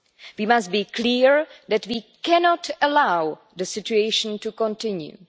We must be clear that we cannot allow the situation to continue.